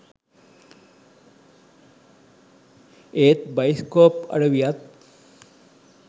ඒත් බයිස්කෝප් අඩවියත්